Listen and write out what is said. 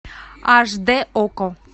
аш д окко